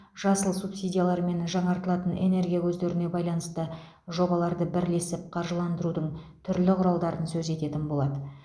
жасыл субсидиялар және жаңартылатын энергия көздеріне байланысты жобаларды бірлесіп қаржыландырудың түрлі құралдарын сөз ететін болады